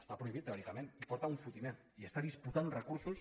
està prohibit teòricament i en porta un fotimer i està disputant uns recursos